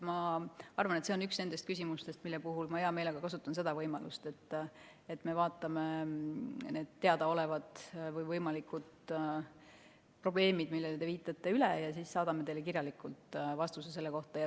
Ma arvan, et see on üks nendest küsimustest, mille puhul ma hea meelega kasutan seda võimalust, et me vaatame need teadaolevad või võimalikud probleemid, millele te viitate, üle ja siis saadame teile selle kohta kirjaliku vastuse.